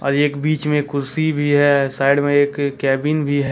एक बीच में कुर्सी भी है साइड में एक केबिन भी ह--